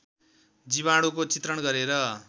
जीवाणुको चित्रण गरेर